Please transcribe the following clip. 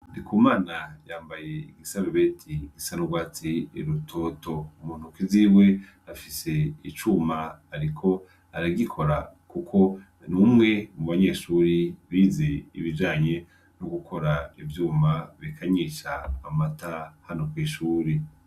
Ndikumana yambaye isarubeti isa n'urwatsi rutoto, muntoki ziwe afise icuma ariko aragikora kuko n'umwe mu banyeshuri bize ibijanye nogukora ivyuma bikanyisha amata hano kw'ishuri.